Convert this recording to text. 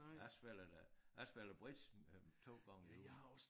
Ja spiller da jeg spiller bridge øh 2 gange i ugen